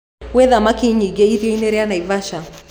Gwĩ thamaki nyiingĩ iria rĩa Naivasha